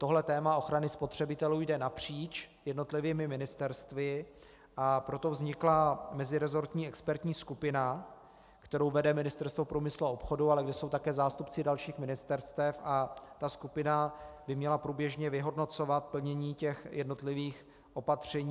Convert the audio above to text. Tohle téma ochrany spotřebitelů jde napříč jednotlivými ministerstvy, a proto vznikla meziresortní expertní skupina, kterou vede Ministerstvo průmyslu a obchodu, ale kde jsou také zástupci dalších ministerstev, a ta skupina by měla průběžně vyhodnocovat plnění těch jednotlivých opatření.